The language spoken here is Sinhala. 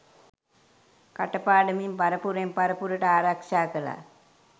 කට පාඩමින් පරපුරෙන් පරපුරට ආරක්ෂා කළා.